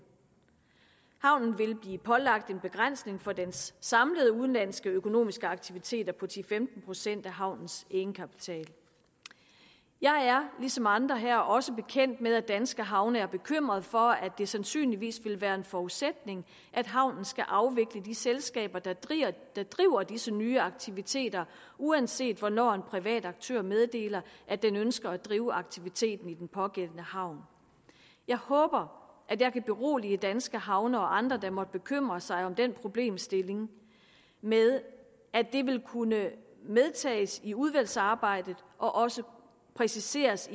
havnen vil blive pålagt en begrænsning for dens samlede udenlandske økonomiske aktiviteter på ti til femten procent af havnens egenkapital jeg er ligesom andre her også bekendt med at danske havne er bekymret for at det sandsynligvis vil være en forudsætning at havnen skal afvikle de selskaber der driver disse nye aktiviteter uanset hvornår en privat aktør meddeler at den ønsker at drive aktiviteten i den pågældende havn jeg håber at jeg kan berolige danske havne og andre der måtte bekymre sig om den problemstilling med at det vil kunne medtages i udvalgsarbejdet og også præciseres